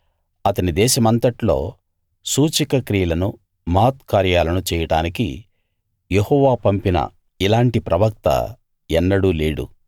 అతని దేశమంతట్లో సూచక క్రియలనూ మహత్కార్యాలనూ చేయడానికి యెహోవా పంపిన ఇలాంటి ప్రవక్త ఎన్నడూ లేడు